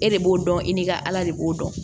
E de b'o dɔn i ni ka ala de b'o dɔn